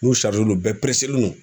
N'u len don bɛɛ len don